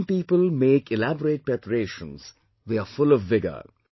Young people make elaborate preparations, they are full of vigour